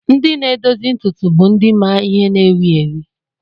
Ndị na-edozi ntutu bụ ndị ma ihe na-ewi ewi.